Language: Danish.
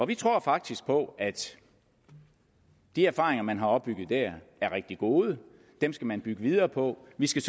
vi tror faktisk på at de erfaringer man har opbygget der er rigtig gode dem skal man bygge videre på vi skal